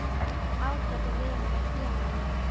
Ágæti vinur og félagi.